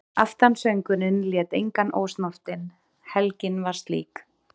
Aftansöngurinn lét engan ósnortinn, helgin var slík.